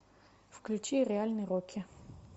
включи реальный рокки